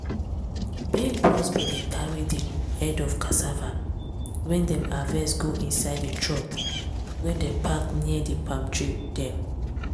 big big bros bin dey carry di head of cassava wey dem harvest go inside di truck wey dem park near di palm tree dem.